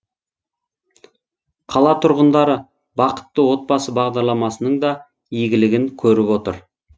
қала тұрғындары бақытты отбасы бағдарламасының да игілігін көріп отыр